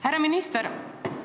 Härra minister!